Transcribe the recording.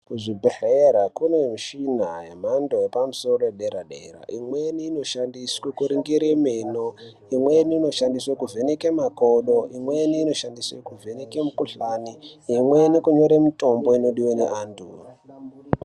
Kuzvibhedhlera kune mishina yemhando yepamusoro yedera-dera, imweni inoshandiswe kuringire meno, imweni inoshandiswe kuvheneke makodo, imweni inoshandiswe kuvheneke mikhuhlani, imweni kunyore mitombo inodiwe neantu.